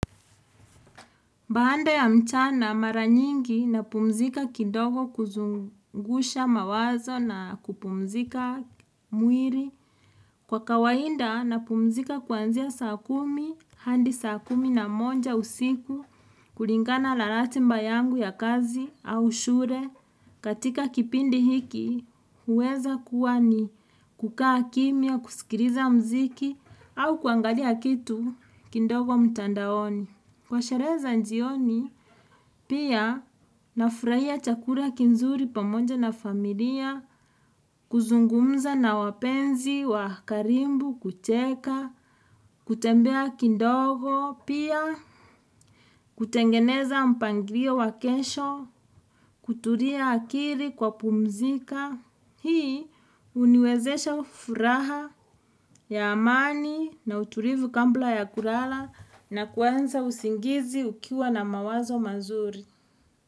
Baada ya mchana mara nyingi napumzika kidogo kuzungusha mawazo na kupumzika mwili. Kwa kawaida napumzika kuanzia saa kumi hadi saa kumi na moja usiku kulingana na ratiba yangu ya kazi au shule. Katika kipindi hiki huweza kuwa ni kukaa kimya, kusikiliza muziki au kuangalia kitu kidogo mtandaoni. Kwa sherehe za jioni, pia nafurahia chakula kizuri pamoja na familia, kuzungumza na wapenzi wa karibu kucheka, kutembea kidogo, pia kutengeneza mpangilio wa kesho, kutulia akili kwa pumzika. Hii huniwezesha furaha ya amani na utulivu kabla ya kulala na kuanza usingizi ukiwa na mawazo mazuri.